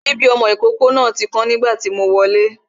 Sipi ọmọ ìkókó náà ti kán nígbà tí mo wọlé